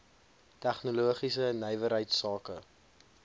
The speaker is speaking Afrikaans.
tegnologiese nywerheids sake